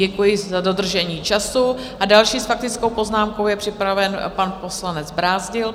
Děkuji za dodržení času a další s faktickou poznámkou je připraven pan poslanec Brázdil.